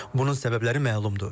Bunun səbəbləri məlumdur.